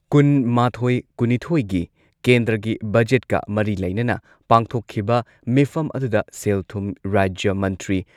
ꯀꯨꯟꯃꯥꯊꯣꯏ ꯀꯨꯟꯅꯤꯊꯣꯏꯒꯤ ꯀꯦꯟꯗ꯭ꯔꯒꯤ ꯕꯖꯦꯠꯀ ꯃꯔꯤ ꯂꯩꯅꯅ ꯄꯥꯡꯊꯣꯛꯈꯤꯕ ꯃꯤꯐꯝ ꯑꯗꯨꯗ ꯁꯦꯜ ꯊꯨꯝ ꯔꯥꯖ꯭ꯌ ꯃꯟꯇ꯭ꯔꯤ